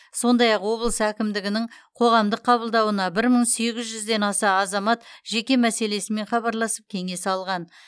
сондай ақ облыс әкімдігінің қоғамдық қабылдауына бір мың сегіз жүзден аса азамат жеке мәселесімен хабарласып кеңес алған